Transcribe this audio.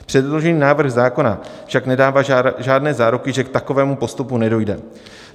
Předložený návrh zákona však nedává žádné záruky, že k takovému postupu nedojde.